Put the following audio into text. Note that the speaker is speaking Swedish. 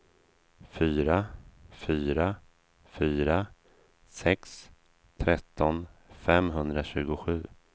fyra fyra fyra sex tretton femhundratjugosju